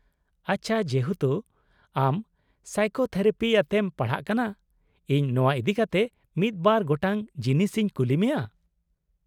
-ᱟᱪᱪᱷᱟ, ᱡᱮᱦᱮᱛᱩ ᱟᱢ ᱥᱟᱭᱠᱳᱛᱷᱮᱨᱟᱯᱤ ᱟᱛᱮᱢ ᱯᱟᱲᱦᱟᱜ ᱠᱟᱱᱟ, ᱤᱧ ᱱᱚᱶᱟ ᱤᱫᱤᱠᱟᱛᱮ ᱢᱤᱫ ᱵᱟᱨ ᱜᱚᱴᱟᱝ ᱡᱤᱱᱤᱥ ᱤᱧ ᱠᱩᱞᱤ ᱢᱮᱭᱟ ᱾